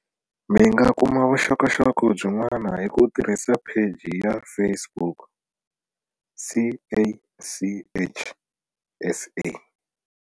Mi nga kuma vuxokoxoko byin'wana hi ku tirhisa Pheji ya Facebook, CACH SA.